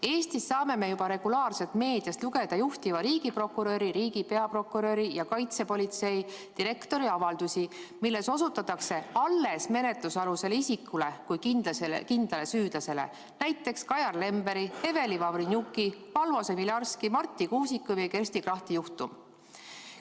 Eestis saame aga juba regulaarselt meediast lugeda juhtiva riigiprokuröri, riigi peaprokuröri ja kaitsepolitsei direktori avaldusi, milles osutatakse menetlusalusele isikule kui kindlale süüdlasele, näiteks Kajar Lemberi, Eveli Vavrenjuki, Valvo Semilarski, Marti Kuusiku ja Kersti Krachti juhtum.